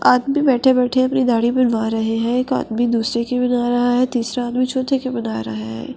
आदमी बैठे-बैठे अपनी दाढ़ी बनवा रहे हैं एक आदमी दूसरे की बना रहा है तीसरा आदमी चौथे की बना रहा है।